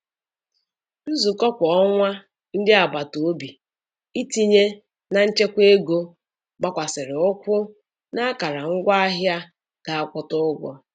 Nzukọ kwa ọnwa ndị agbataobi itinye na nchekwa ego gbakwasiri ụkwụ n'akara ngwaahịa ga akwụta ụgwọ.